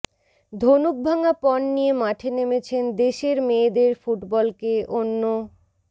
ধনুকভাঙা পণ নিয়ে মাঠে নেমেছেন দেশের মেয়েদের ফুটবলকে অন্য